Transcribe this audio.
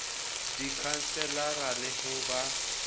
ka dikhanselara le ho ba